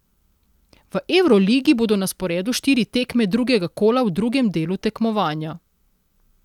V evroligi bodo na sporedu štiri tekme drugega kola v drugem delu tekmovanja.